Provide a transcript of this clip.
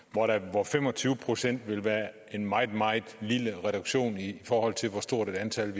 hvor fem og tyve procent ville være en meget meget lille reduktion i forhold til hvor stort et antal